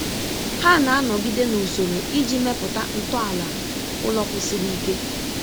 Ha na-anọgide na usoro iji mepụta ntọala ụlọ kwụsiri ike.